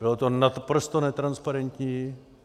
Bylo to naprosto netransparentní.